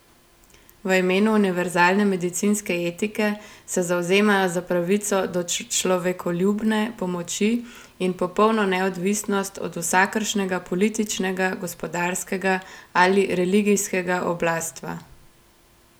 V imenu univerzalne medicinske etike se zavzemajo za pravico do človekoljubne pomoči in popolno neodvisnost od vsakršnega političnega, gospodarskega ali religijskega oblastva.